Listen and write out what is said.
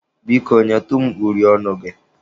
Biko, nyetụ m uri ọnụ gị.